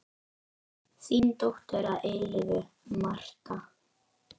Þín dóttir að eilífu, Marta.